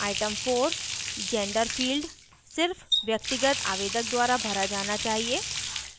item 4 gender field सिर्फ व्यक्तिगत आवेदक द्वारा भरा जाना चाहिए